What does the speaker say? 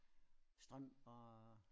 Strømper og